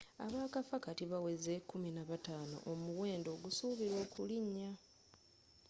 abaakafa kati bawezze 15 omuwendo ogusuubilwa okulinnya